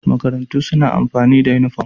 Makarantu suna amfani da uniform